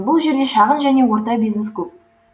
бұл жерде шағын және орта бизнес көп